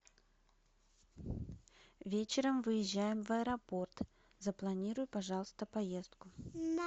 вечером выезжаем в аэропорт запланируй пожалуйста поездку